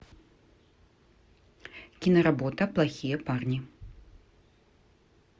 киноработа плохие парни